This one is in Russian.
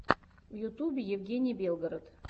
в ютубе евгений белгород